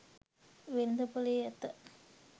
වෙළෙඳ පොළේ ඇත.